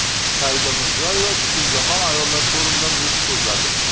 Saida Mirziyoyeva Butunjahon ayollar forumida nutq so‘zladi.